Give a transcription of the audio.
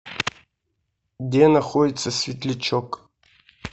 где находится светлячок